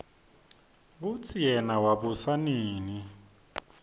kutsi yena wabusa nini